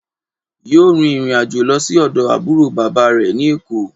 Yóò rin ìrìnàjò lo sí ọ̀dọ̀ àbúrò bàbá rẹ̀ ní Èkó